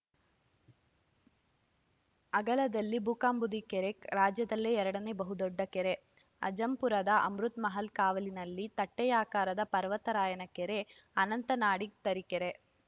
ಅಗಲದಲ್ಲಿ ಬುಕ್ಕಾಂಬುದಿ ಕೆರೆ ರಾಜ್ಯದಲ್ಲೇ ಎರಡನೇ ಬಹುದೊಡ್ಡ ಕೆರೆ ಅಜ್ಜಂಪುರದ ಅಮೃತಮಹಲ್‌ ಕಾವಲಿನಲ್ಲಿ ತಟ್ಟೆಯಾಕಾರದ ಪರ್ವತರಾಯನ ಕೆರೆ ಅನಂತ ನಾಡಿಗ್‌ ತರೀಕೆರೆ